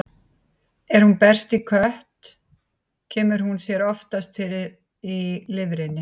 Ef hún berst í kött, kemur hún sér oftast fyrir í lifrinni.